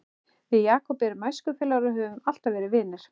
Við Jakob erum æskufélagar og höfum alltaf verið vinir.